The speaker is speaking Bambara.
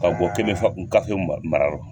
Ka bɔ kɛmɛfa kafe ma baarra yɔrɔ.